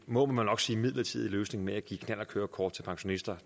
må man nok sige midlertidig løsning med at give knallertkørekort til pensionister